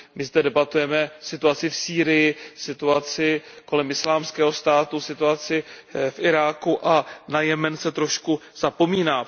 My zde debatujeme o situaci v Sýrii, situaci kolem Islámského státu, situaci v Iráku a na Jemen se trošku zapomíná.